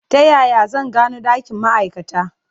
Ta yaya zan gano ɗakin ma'aikata?